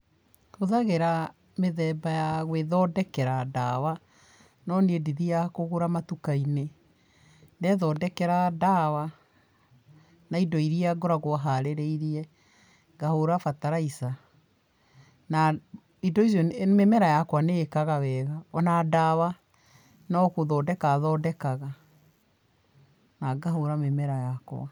Hũthagĩra mĩthemba ya gwĩthondekera ndawa no niĩ ndithiaga kũgũra matuka-inĩ. Ndethondekera ndawa na indo iria ngoragwo harĩrĩirie, ngahũra bataraica na indo icio, mĩmera yakwa nĩ ĩkaga wega, ona ndawa no gũthondeka thondekaga na ngahũra mĩmera yakwa.